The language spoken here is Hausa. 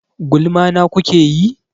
Gulma na kuke yi?